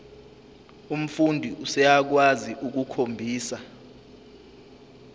umfundi useyakwazi ukukhombisa